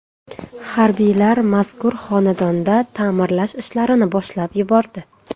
Harbiylar mazkur xonadonda ta’mirlash ishlarini boshlab yubordi.